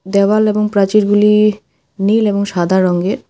দেওয়াল এবং প্রাচীরগুলি নীল এবং সাদা রঙ্গের ।